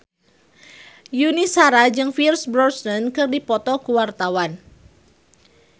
Yuni Shara jeung Pierce Brosnan keur dipoto ku wartawan